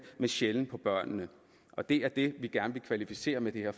men sjældent på børnene og det er det vi gerne vil kvalificere med det her